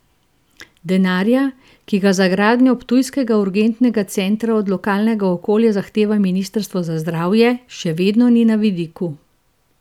Denarja, ki ga za gradnjo ptujskega urgentnega centra od lokalnega okolja zahteva ministrstvo za zdravje, še vedno ni na vidiku.